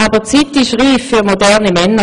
Aber die Zeit ist reif für moderne Männer.